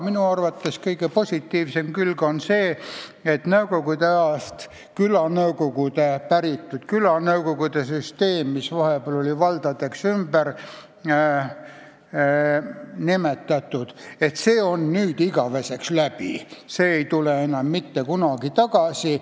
Minu arvates kõige positiivsem külg on see, et nõukogude ajast päritud külanõukogude süsteem, mis vahepeal oli valdadeks ümber nimetatud, on nüüd igaveseks läbi ega tule enam mitte kunagi tagasi.